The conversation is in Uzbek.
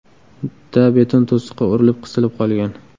da beton to‘siqqa urilib, qisilib qolgan.